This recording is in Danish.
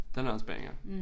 Den er også banger